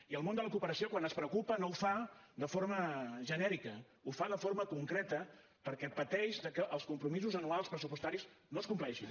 i el món de la cooperació quan es preocupa no ho fa de forma genèrica ho fa de forma concreta perquè pateix de que els compromisos anuals pressupostaris no es compleixin